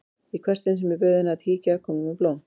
Í hvert sinn sem ég bauð henni að kíkja kom hún með blóm.